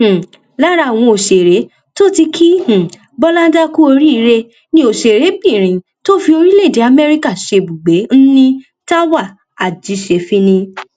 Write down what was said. um lára àwọn òṣèré tó ti ki um bọláńdà kú oríire ni òṣèrébìnrin tó fi orílẹèdè amẹríkà ṣebùgbé nni táwa àjíṣẹfínní